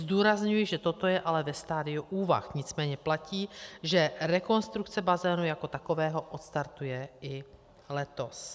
Zdůrazňuji, že toto je ale ve stadiu úvah, nicméně platí, že rekonstrukce bazénu jako takového odstartuje i letos.